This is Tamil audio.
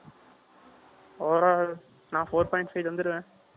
Over all , நான் four point five வந்திருவேன்